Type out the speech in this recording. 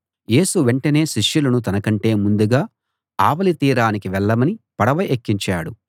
యేసు వెంటనే శిష్యులను తనకంటే ముందుగా ఆవలి తీరానికి వెళ్ళమని పడవ ఎక్కించాడు